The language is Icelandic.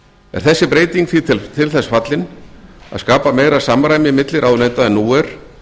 er þessi breyting því til þess fallin að skapa meira samræmi milli ráðuneyta en nú er